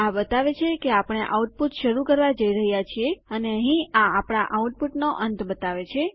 આ બતાવે છે કે આપણે આઉટપુટ શરૂ કરવા જઈ રહ્યા છીએ અને અહીં આ આપણા આઉટપુટનો અંત બતાવે છે